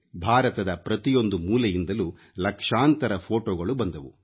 ಭಾರತದ ಪ್ರತಿಯೊಂದು ಮೂಲೆಯಿಂದಲೂ ಲಕ್ಷಾಂತರ ಫೋಟೊಗಳು ಬಂದವು